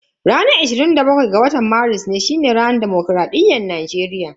Ranar ashirin da bakwai ga watan Maris shine ranar dimokuraɗiyya a Najeriya.